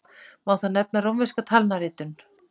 Má þar nefna rómverska talnaritun.